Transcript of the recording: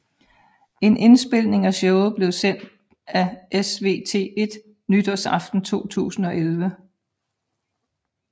En indspilning af showet blev sendt af SVT1 nytårsaften 2011